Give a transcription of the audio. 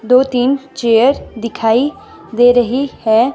दो-तीन चेयर दिखाई दे रही है।